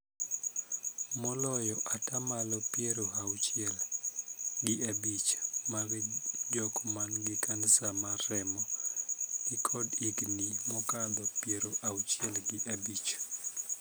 Moloyo ataa malo piero auchiel gi abich mag jok man gi Kansa mar remo ni kod higni mokadho piero abich gi abich.